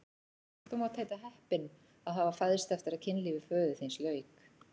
Þú mátt heita heppinn að hafa fæðst eftir að kynlífi föður þíns lauk!